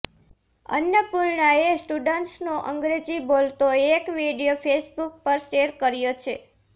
અન્નપૂર્ણાએ સ્ટુડન્ટ્સનો અંગ્રેજી બોલતો એક વીડિયો ફેસબુક પર શેયર કર્યો છે